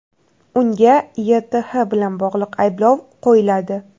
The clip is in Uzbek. Unga YTH bilan bog‘liq ayblov qo‘yiladi.